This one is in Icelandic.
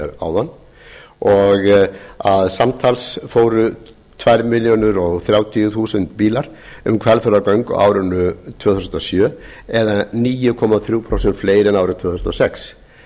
að hér áðan og að samtals fóru tvær milljónir þrjátíu þúsund bílar um hvalfjarðargöng á árinu tvö þúsund og sjö eða níu komma þrjú prósent fleiri en árið tvö þúsund og sex